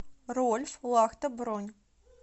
рольф лахта бронь